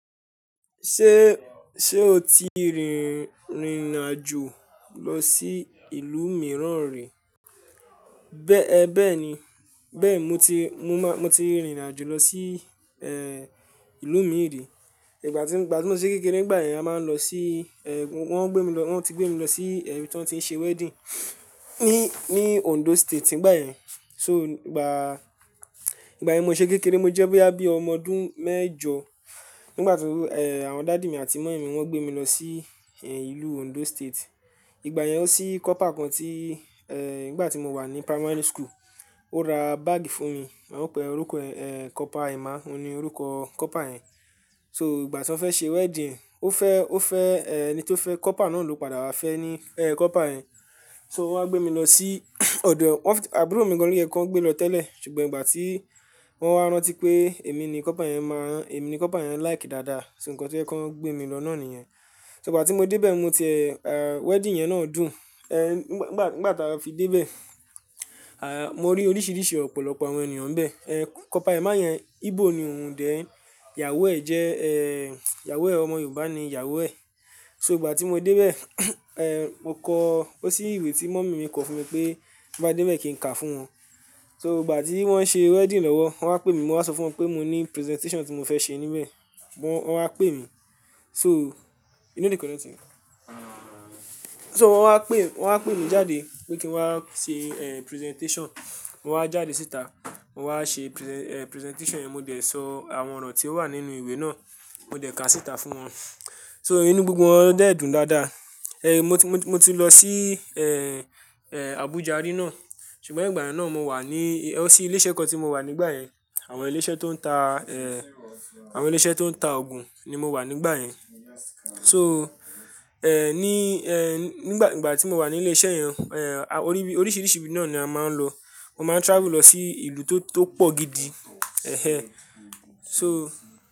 Ṣé, ṣe o ti rìnrìn àjò lọ sí ìlú mìíràn rí? Bẹ́ẹ̀ni, bẹ́ẹ̀ ni. Bẹ́ẹ̀ mo ti, mo máa, mo ti rìnrìn àjò lọ sí, eh, ìlú mìí rì. Ìgbà tí, ìgbà tí mo ṣé kékeré, nígbà yẹn a máa ń lọ sí, ẹ́, wọ́n gbé mi lọ, wọ́n ti gbé mi lọ sí ibi tí wọ́n ti ń ṣe wedding ní, ní Ondo State nígbà yẹn. So, ìgbà, ìgbà yẹn mo ṣe kékeré, mo jẹ́ báyìí, báyìí ọmọ ọdún mẹ́jọ. Nígbà tí, eh, àwọn daddy mi àti mummy mi wọ́n gbé mi lọ sí ìlú Ondo State. Ìgbà yẹn o ní copper kan tí, eh, nígbà tí mo wà ní primary school, ó ra bag fún mi. Ó pe, orúkọ ẹ̀, eh, Copper Emma, ó ni orúkọ copper yẹn. So, ìgbà tí wọ́n fẹ́ ṣe wedding, ó fẹ́, ó fẹ́, eh, ẹni tó fẹ́ copper náà ló padà wá fẹ́ ní, eh, copper yẹn. So, wọ́n wá gbé mi lọ sí ọ̀dọ̀, wọ́n-- àbúrò mi nìkan ni ẹ́ kọ gbé lọ tẹ́lẹ̀. Ṣùgbọ́n ìgbà tí wọ́n wá rántí pé èmi ni copper yẹn máa rán, èmi ni copper yẹn like dáadáa. So, nǹkan tí ó jẹ́ kíwọ́n gbé mi lọ náà nìyẹn. So, ìgbà tí mo dé bẹ́ẹ̀ mo tì ẹ̀, ah, wedding yẹn náà dùn. Eh, nígbà, nígbà táa fi dé bẹ́ẹ̀, ah, mo rí oríṣiríṣi ọ̀pọ̀lọpọ̀ àwọn ènìyàn níbẹ̀. Eh, Copper Emma yẹn Igbo ni òun dè ẹ́, ìyàwó ẹ̀ jẹ́, eh, ìyàwó ẹ̀ ọmọ Yorùbá ni ìyàwó ẹ̀. So, ìgbà tí mo dé bẹ́ẹ̀, eh, mo kọ, ó ní ìwé tí mummy mi kọ fún mi pé bá dé bẹ́ẹ̀ kí n kà fún wọn. So, ìgbà tí wọ́n ṣe wedding lọ́wọ́, wọ́n wá pè mí, mo wá sọ fún wọn pé mo ní presentation tí mo fẹ́ ṣe níbẹ̀. Wọ́n, wọ́n wá pè mí. So, inú yìí kò ní tìrín. So, wọ́n wá pè, wọ́n wá pè mi jáde pé kí n wá ṣe, eh, presentation. Mo wá jáde síta, mo wá ṣe prese-- eh, presentation yẹn. Mo dẹ̀ sọ àwọn ọ̀rọ̀ tí ó wà nínú ìwé náà, mo dẹ̀ kàá síta fún wọn. So, inú gbogbo wọn dé dùn dáadáa. Eh, mo ti, mo ti lọ sí, eh, eh, Abuja rí náà. Ṣùgbọ́n ìgbà yẹn náà mo wà ní, o oní ilé iṣẹ́ kan tí mo wà nígbà yẹn. Àwọn ilé iṣẹ́ tó ń ta, eh, àwọn ilé iṣẹ́ tó ń ta òògùn ni mo wà nígbà yẹn. So, eh, ní, eh, nígbà, ìgbà tí mo wà ní ilé iṣẹ́ yẹn, eh, orí ibi, oríṣiríṣi ibi náà ni a máa ń lọ. Mo máa travel lọ sí ìlú tó, tó pọ̀ gidi. Ehẹn. So.